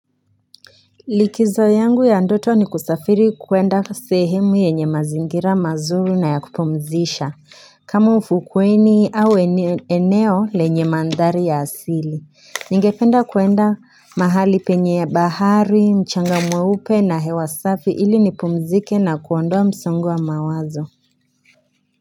Likizo yangu ya ndoto ni kusafiri kuenda sehemu yenye mazingira mazuri na ya kupumzisha kama ufukweni au eneo lenye mandhari ya asili nigependa kuenda mahali penye bahari mchanga mweupe na hewa safi ili nipumzike na kuondoa msongo wa mawazo.